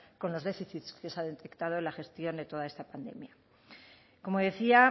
con los déficits que se han detectado en la gestión de toda esta pandemia como decía